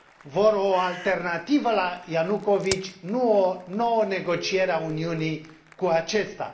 Vor o alternativă la Ianukovici, nu o nouă negociere a Uniunii cu acesta.